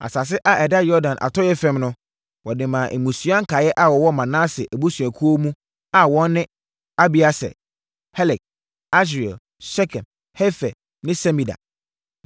Asase a ɛda Yordan atɔeɛ fam no, wɔde maa mmusua nkaeɛ a wɔwɔ Manase abusuakuo mu a wɔn ne: Abieser, Helek, Asriel, Sekem, Hefer ne Semida.